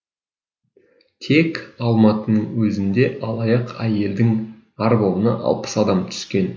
тек алматының өзінде алаяқ әйелдің арбауына алпыс адам түскен